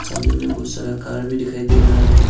सामने में बहुत सारा कार भी दिखाई दे रहा है।